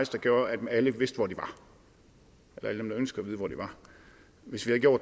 der gjorde at alle der ønskede